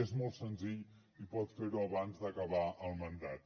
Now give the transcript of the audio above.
és molt senzill i pot ferho abans d’acabar el mandat